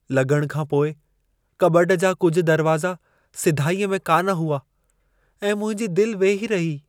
लॻण खां पोइ कॿट जा कुझु दरवाज़ा सिधाईअ में कान हुआ ऐं मुंहिंजी दिल वेही रही।